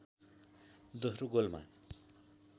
दोस्रो गोलमा